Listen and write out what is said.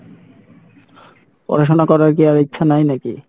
পড়াশোনা করার কী আর ইচ্ছা নাই নাকি?